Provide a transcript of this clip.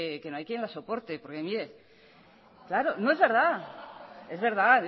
que no hay quien la soporte porque mire claro no es verdad es verdad